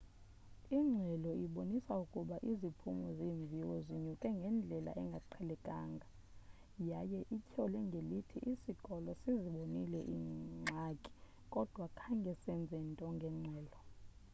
ingxelo ibonise ukuba iziphumo zeemviwo zinyuke ngendlela engaqhelekanga yaye ityhole ngelithi isikolo sizibonile iingxaki kodwa khange senze nto ngengxelo